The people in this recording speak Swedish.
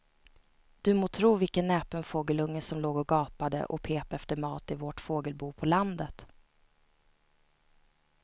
Du må tro vilken näpen fågelunge som låg och gapade och pep efter mat i vårt fågelbo på landet.